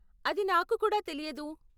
అది నాకు కూడా తెలియదు.